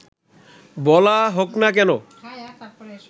বলা হোক না কেন